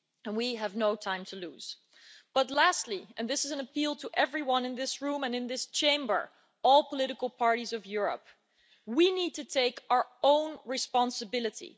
We have no time to lose. But lastly and this is an appeal to everyone in this room and in this Chamber all political parties of Europe, we need to take our own responsibility.